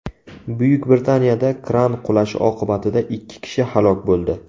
Buyuk Britaniyada kran qulashi oqibatida ikki kishi halok bo‘ldi.